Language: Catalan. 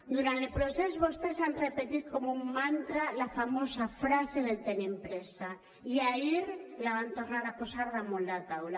durant el procés vostès han repetit com un mantra la famosa frase del tenim pressa i ahir la van tornar a posar damunt la taula